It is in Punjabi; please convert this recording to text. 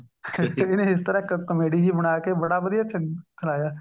ਇਹਨੇ ਇਸ ਤਰ੍ਹਾਂ comedy ਜਿਹੀ ਬਣਾਕੇ ਬੜਾ ਵਧੀਆ ਸੁਣਾਇਆ